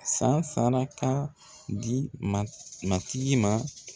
San saraka di matigi ma